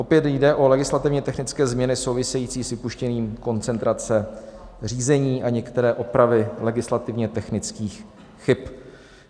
Opět jde o legislativně technické změny související s vypuštěním koncentrace řízení a některé opravy legislativně technických chyb.